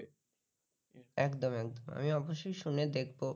আমি অবশ্যই শুনে দেখব